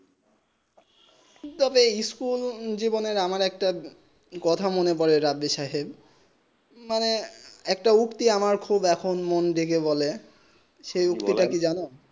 তবে সাচ্চুল জীবনে আমার একটা কথা মনে পরে রাধের সাহেব মানে একটা যুক্তি খুব আবার মন জেগে বলে সেই যুগটি তা কি জানো